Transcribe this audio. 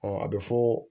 a bɛ fɔ